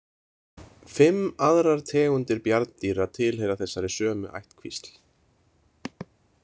Fimm aðrar tegundir bjarndýra tilheyra þessari sömu ættkvísl.